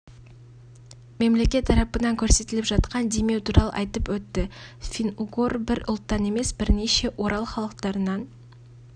мемлекет тарапынан көрсетіліп жатқан демеу туралы айтып өтті фин-угор бір ұлттан емес бірнеше орал халықтарынан